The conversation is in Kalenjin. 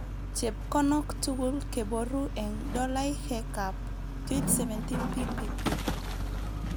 Chepkonok tugul keboru eng dollaihekab 2017 PPP